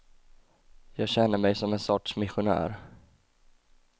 Jag känner mig som en sorts missionär.